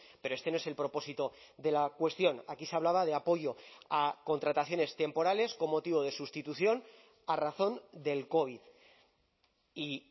pero este no es el propósito de la cuestión aquí se hablaba de apoyo a contrataciones temporales con motivo de sustitución a razón del covid y